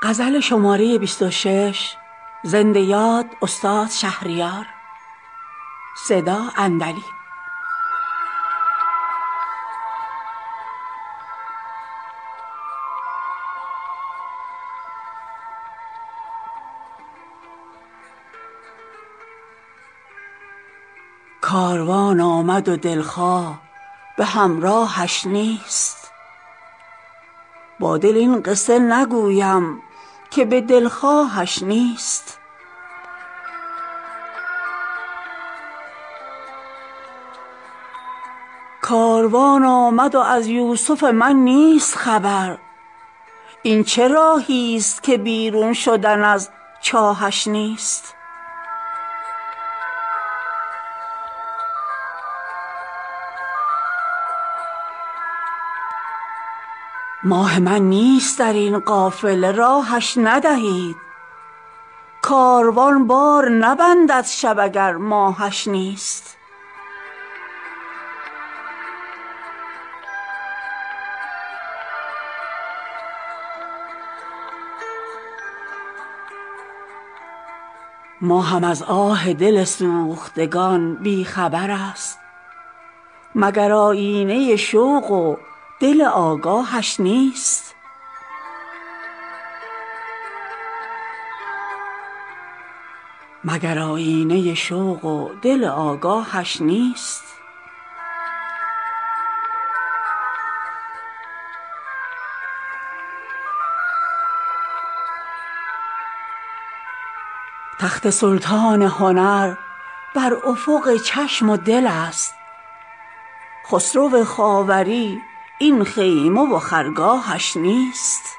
کاروان آمد و دلخواه به همراهش نیست با دل این قصه نگویم که به دلخواهش نیست کاروان آمد و از یوسف من نیست خبر این چه راهیست که بیرون شدن از چاهش نیست ماه من نیست در این قافله راهش ندهید کاروان بار نبندد شب اگر ماهش نیست نامه ای هم ننوشته است خدایا چه کنم گاهش این لطف به ما هست ولی گاهش نیست ماهم از آه دل سوختگان بی خبر است مگر آیینه شوق و دل آگاهش نیست یارب آیینه او لطف و صفاییش نماند یا بساط دل بشکسته من آهش نیست تا خبر یافته از چاه محاق مه من ماه حیران فلک جز غم جانکاهش نیست داشتم شاهی و بر تخت گلم جایش بود حالیا تخت گلم هست ولی شاهش نیست تخت سلطان هنر بر افق چشم و دل است خسرو خاوری این خیمه و خرگاهش نیست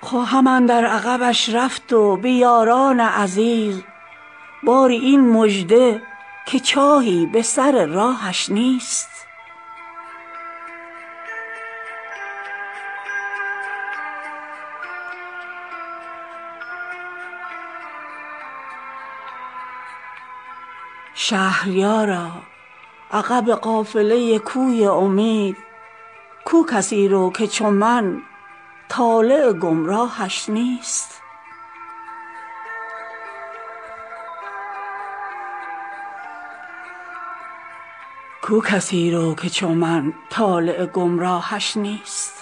خواهم اندر عقبش رفت و به یاران عزیز باری این مژده که چاهی به سر راهش نیست شهریارا عقب قافله کوی امید گو کسی رو که چو من طالع گمراهش نیست